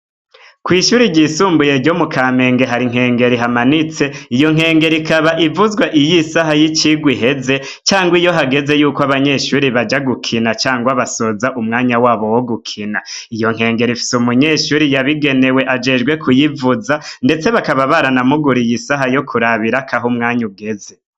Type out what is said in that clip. Kw'ishure ryisumbuye ryo mu kamenge hari inkengeri ihamanitse iyo nkengeri ikaba ivuzwa iyo isaha y'icigwa iheze canke iyo hageze yukw'abanyeshure baja gukina canke bazoza umwanya wabo wogukina, iyo nkengeri ifise umunyeshure yabigenewe ajejwe kuyivuza ndetse bakaba baranamuguriye isaha yokurabirako umwanya ugeze.